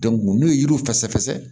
n'u ye yiri fɛsɛ